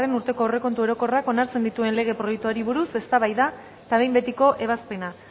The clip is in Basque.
urteko aurrekontu orokorrak onartzen dituen lege proiektuari buruz eztabaida eta behin betiko ebazpena